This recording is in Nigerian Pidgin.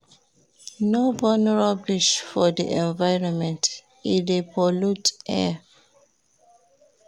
No burn rubbish for di environment, e dey pollute di air.